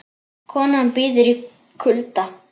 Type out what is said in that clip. Kona bíður í kulda